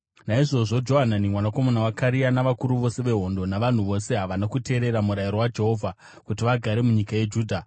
Naizvozvo Johanani mwanakomana waKarea navakuru vose vehondo navanhu vose havana kuteerera murayiro waJehovha kuti vagare munyika yeJudha.